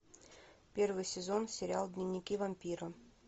первый сезон сериал дневники вампира